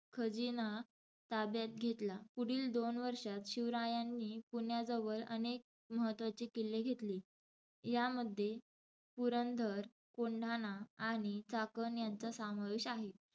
खजिना ताब्यात घेतला. पुढील दोन वर्षात शिवरायांनी पुण्याजवळ अनेक महत्त्वाचे किल्ले घेतले. यामध्ये पुरंधर, कोंढाणा आणि चाकण यांचा सामावेश आहे.